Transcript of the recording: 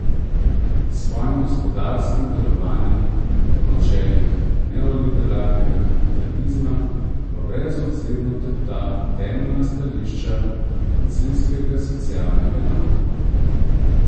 S svojim gospodarskim delovanjem po načelih neoliberalnega kapitalizma pa brezobzirno tepta temeljna stališča koncilskega socialnega nauka.